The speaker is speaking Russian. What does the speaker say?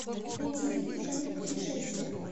найди фильм в жанре путешествие